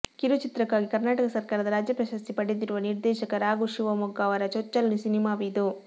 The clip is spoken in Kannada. ಕಿರುಚಿತ್ರಕ್ಕಾಗಿ ಕರ್ನಾಟಕ ಸರಕಾರದ ರಾಜ್ಯ ಪ್ರಶಸ್ತಿ ಪಡೆದಿರುವ ನಿರ್ದೇಶಕ ರಾಘು ಶಿವಮೊಗ್ಗ ಅವರ ಚೊಚ್ಚಲು ಸಿನಿಮಾವಿದು